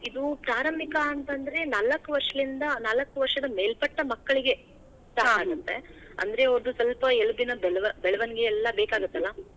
ಇದು ಪ್ರಾರಂಭಿಕ ಅಂದ್ರೆ ನಾಲ್ಕ್ ವರ್ಷಲಿಂದಾ ನಾಲ್ಕ ವರ್ಷದ ಮೇಲ್ಪಟ್ಟ ಮಕ್ಳಿಗೆ ಅಂದ್ರೆ ಅವರ್ದು ಸ್ವಲ್ಪ ಎಲುಬಿನ ಬೆಳ~ ಬೆಳವಣಿಗೆ ಎಲ್ಲಾ ಬೇಕಾಗತ್ತಲಾ.